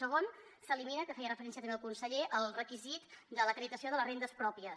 segon s’elimina que hi feia referència també el conseller el requisit de l’acreditació de les rendes pròpies